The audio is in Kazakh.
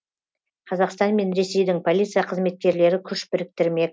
қазақстан мен ресейдің полиция қызметкерлері күш біріктірмек